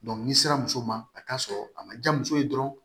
n'i sera muso ma a t'a sɔrɔ a ma diya muso ye dɔrɔn